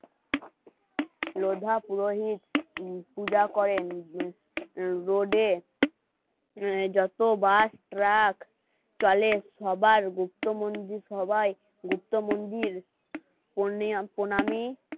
লোধা পুরোহিত পূজা করেন রোডে যত বাস, ট্রাক চলে সবার গুপ্তমন্ত্রী সবাই গুপ্ত মন্দিরা, প্রণামী